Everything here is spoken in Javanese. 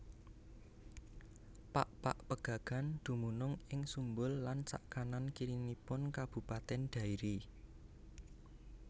Pakpak Pegagan dumunung ing Sumbul lan sakanan kiringipun Kabupatèn Dairi